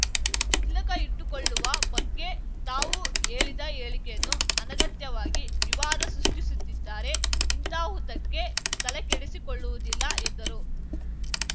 ತಿಲಕ ಇಟ್ಟುಕೊಳ್ಳುವ ಬಗ್ಗೆ ತಾವು ಹೇಳಿದ ಹೇಳಿಕೆಯನ್ನು ಅನಗತ್ಯವಾಗಿ ವಿವಾದ ಸೃಷ್ಟಿಸುತ್ತಿದ್ದಾರೆ ಇಂತಹುದಕ್ಕೆ ತಲೆಕೆಡಿಸಿಕೊಳ್ಳವುದಿಲ್ಲ ಎಂದರು